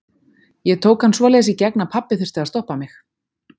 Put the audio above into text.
Ég tók hann svoleiðis í gegn að pabbi þurfti að stoppa mig.